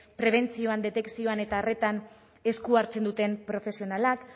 prebentzioan detekzioan eta horretan esku hartzen duten profesionalak